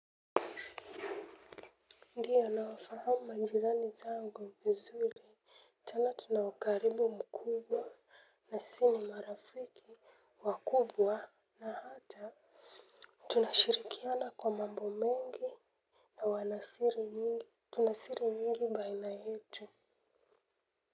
Ndiyo, nawafahamu majirani zangu vizuri, tena tuna ukaribu mkubwa na si ni marafiki wakubwa na hata tunashirikiana kwa mambo mengi na wanasiri nyingi, tuna siri nyingi baina yetu.